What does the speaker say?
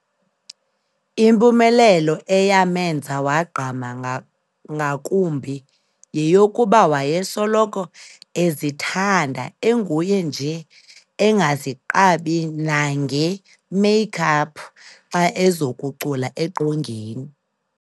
Impumelelo eyamenza wagqama ngakumbi yeyokuba wayesoloko ezithanda enguye nje engaziqabi nangee "make up" xa ezokucula eqongeni.